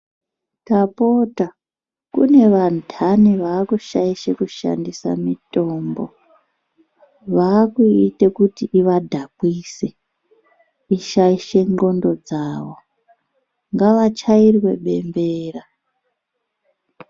Tapota kune vandani vaakushaishe kushandisa mitombo vaakuite kuti ivadhakwise ndxondo dzavo. Ngavachairwe bembera.